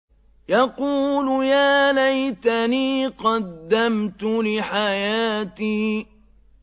يَقُولُ يَا لَيْتَنِي قَدَّمْتُ لِحَيَاتِي